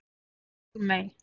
Pálmey